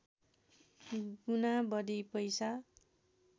गुणा बढी पैसा